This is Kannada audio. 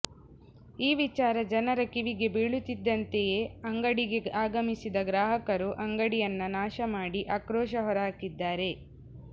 ಈ ವಿಚಾರ ಜನರ ಕಿವಿಗೆ ಬೀಳುತ್ತಿದ್ದಂತೆಯೇ ಅಂಗಡಿಗೆ ಆಗಮಿಸಿದ ಗ್ರಾಹಕರು ಅಂಗಡಿಯನ್ನ ನಾಶ ಮಾಡಿ ಆಕ್ರೋಶ ಹೊರಹಾಕಿದ್ದಾರೆ